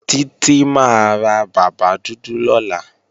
Títí máa ra bàbá dúdú lọ́la